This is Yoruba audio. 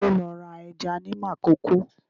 Ta ló lọ ra ẹja ní Makòko?